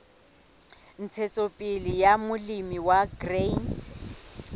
ntshetsopele ya molemi wa grain